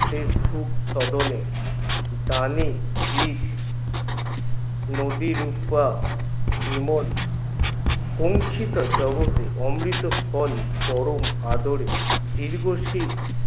সে সুখ সদনে দানে বীজ নদীর বিমন জগতে অমৃত ফল পরম আদরে দীর্ঘসেই